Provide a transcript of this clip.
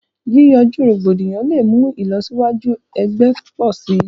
Yìyànju rògbòdíyàn lẹ̀ mú ilọ̀síwàjú ẹ̀gbẹ̀ pọ̀ sí.